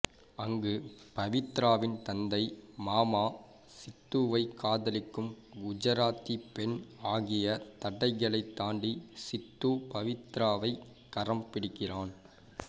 அங்கு பவித்ராவின் தந்தை மாமா சித்துவை காதலிக்கும் குஜராத்தி பெண் ஆகிய தடைகளைத் தாண்டி சித்து பவித்ராவை கரம் பிடிக்கிறான்